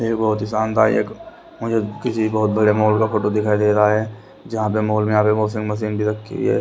ये बहोत ही शानदायक मुझे किसी बहोत बड़े मॉल का फोटो दिखाई दे रहा है जहां पे मॉल में यहां पे वॉशिंग मशीन भी रखी है।